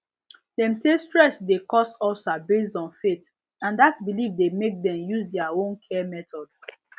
dem say stress dey cause ulcer based on faith and dat belief dey make dem use their own care method